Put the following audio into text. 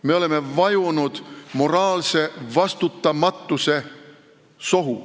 Me oleme vajunud moraalse vastutamatuse sohu.